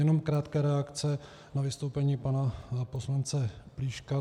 Jenom krátká reakce na vystoupení pana poslance Plíška.